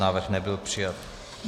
Návrh nebyl přijat.